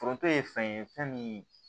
Foronto ye fɛn ye fɛn min